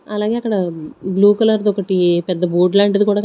అలాగే అక్కడ blue colour ది ఒకటి పెద్ద బోర్డ్ లాంటిది క--